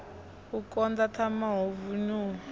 u koḓa thanga hu vinyuwa